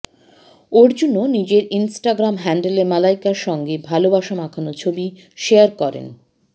অর্জুনও নিজের ইনস্টাগ্রাম হ্যান্ডেলে মালাইকার সঙ্গে ভালবাসা মাখানো ছবি শেয়ার করেন